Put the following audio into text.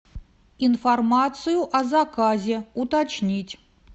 информацию о заказе уточнить